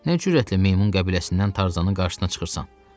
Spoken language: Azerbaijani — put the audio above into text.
Nə cürətlə meymun qəbiləsindən Tarzanın qarşısına çıxırsan?